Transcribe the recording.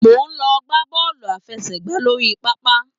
Mo n lọ gbà bọọlu àfẹ́sẹ̀gbà lórí pápá.